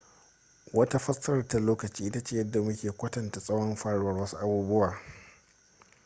wata fassarar ta lokaci ita ce yadda mu ke kwatanta tsawon faruwar wasu abubuwa